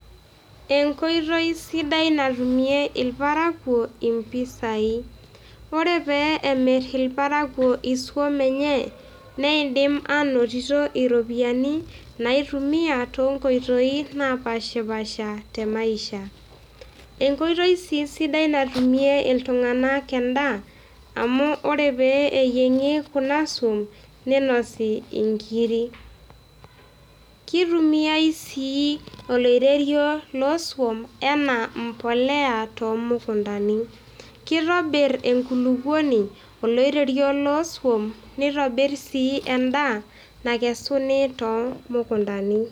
Enkoitoi sidai natumie irparakuo impisai. Ore pee emir irparakuo isuom enye, neidim aanotito iropiyiani naaitumia toonkoitoi naapaashipaasha temasiha. Enkoitoi sii sidai natumie irparakuo endaa, amu ore pee eyieng'i kuna suom, ninosi inkiri. Keitumiai sii oloiterio loosuom enaa embolea toomukuntani. Kitobir enkolukuoni oloiterio loosuom, neitobir sii endaa nakesuni toomukuntani.